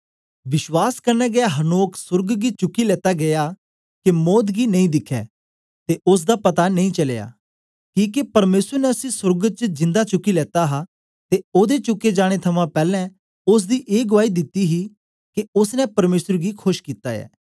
विश्वास कन्ने गै हनोक सोर्ग गी चुकी लेता गीया के मौत गी नेई दिखै ते ओसदा पता नेई चलया किके परमेसर ने उसी सोर्ग च जिन्दा चुकी लेता हा ते ओदे चुके जाने थमां पैलैं ओसदी ए गुआई दिती गेई ही के ओसने परमेसर गी खोश कित्ता ऐ